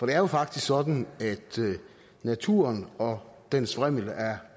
er jo faktisk sådan at naturen og dens vrimmel af